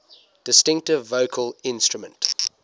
distinctive vocal instrument